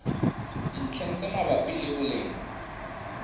dintlheng tse mabapi le boleng